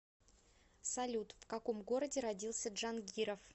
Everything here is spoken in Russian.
салют в каком городе родился джангиров